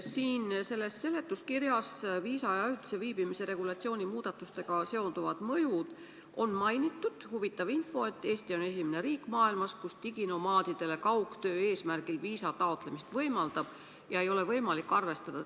Siin selle seletuskirja alapeatükis "Viisa ja ajutise viibimise regulatsiooni muudatustega seonduvad mõjud" on huvitava infona mainitud, et Eesti on esimene riik maailmas, kes võimaldab diginomaadidel kaugtöö tegemise eesmärgil taotleda viisat, ja et teiste riikide kogemusi pole seejuures võimalik arvestada.